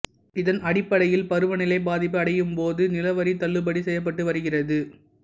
இதன் அடிப்படையில்பருவநிலை பாதிப்பு அடையும்பபோது நிலவரி தள்ளுபடி செய்யப்பட்டு வருகிறது